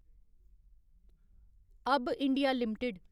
अब्ब India limited